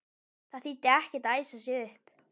Það þýddi ekkert að æsa sig upp.